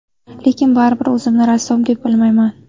Lekin baribir o‘zimni rassom deb bilmayman.